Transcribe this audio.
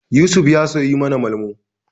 Yusuf ya suyi mana Malmo.